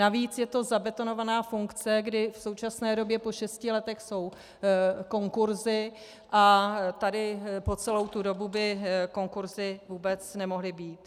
Navíc je to zabetonovaná funkce, kdy v současné době po šesti letech jsou konkurzy a tady po celou tu dobu by konkurzy vůbec nemohly být.